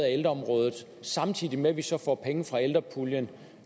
af ældreområdet samtidig med at vi så får penge fra ældrepuljen